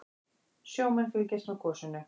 Sjómenn fylgjast með gosinu